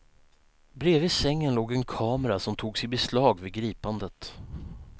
Bredvid sängen låg en kamera som togs i beslag vid gripandet.